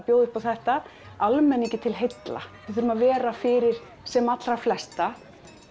bjóða upp á þetta almenningi til heilla við þurfum að vera fyrir sem allra flesta